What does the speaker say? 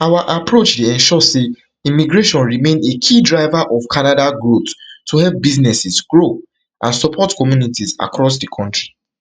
our approach dey ensure say immigration remain a key driver of canada growth to help businesses grow and support communities across di kontri